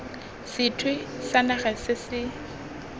sethwe sa naga se se